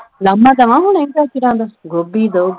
ਲਾਹਮਾ ਦਵਾਂ ਹੁਣੇ ਗਾਜਰਾਂ ਦਾ ਗੋਭੀ ਦਊ।